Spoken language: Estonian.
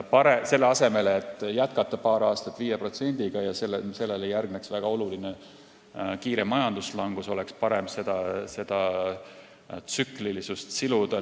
Selle asemel, et jätkata paar aastat 5%-ga ja siis järgneks väga kiire majanduslangus, oleks parem juba praeguste sammudega seda tsüklilisust siluda.